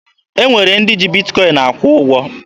E nwere ndị ji Bitkọin akwụ ụgwọ.